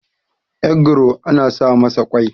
egro ana sa masa kwai